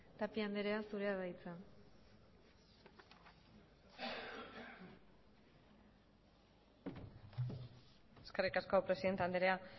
tapia andrea zurea da hitza eskerrik asko presidente andrea